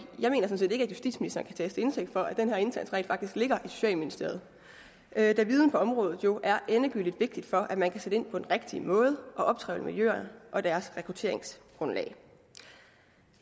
at justitsministeren kan tages til indtægt for det når den her indsats rent faktisk ligger i socialministeriet da viden på området jo er endegyldigt vigtig for at man kan sætte ind på den rigtige måde og optrævle miljøerne og deres rekrutteringsgrundlag